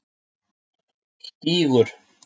Stígur